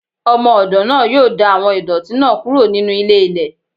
Ọmọ-ọdọ naa yoo da awọn idọti naa kuro ninu ílé- ílè.